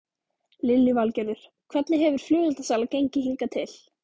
Lillý Valgerður: Hvernig hefur flugeldasala gengið hingað til?